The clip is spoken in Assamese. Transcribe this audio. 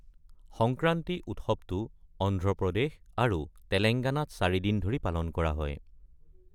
সংক্ৰান্তি উৎসৱটো অন্ধ্ৰপ্ৰদেশ আৰু তেলেংগানাত চাৰিদিন ধৰি পালন কৰা হয়।